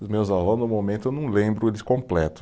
Dos meus avós, no momento, eu não lembro eles completo.